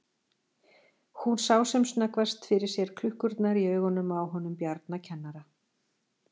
Hún sá sem snöggvast fyrir sér klukkurnar í augunum á honum Bjarna kennara.